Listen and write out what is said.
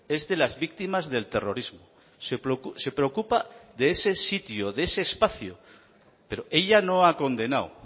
es de las víctimas del terrorismo se preocupa de ese sitio de ese espacio pero ella no ha condenado